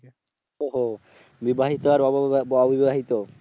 ওহ বিবাহিত আর অব আবিবাহিত?